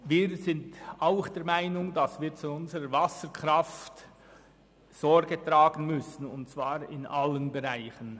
Wir sind auch der Meinung, dass wir zu unserer Wasserkraft Sorge tragen müssen, und zwar in allen Bereichen.